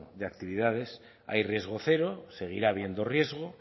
de actividades hay riesgo cero seguirá habiendo riesgo